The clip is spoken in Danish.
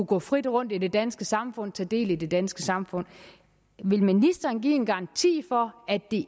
gå frit rundt i det danske samfund og tage del i det danske samfund vil ministeren give en garanti for at det